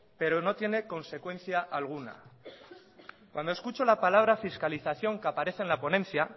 pero no tiene consecuencia alguna cuando escucho la palabra fiscalización que aparece en la ponencia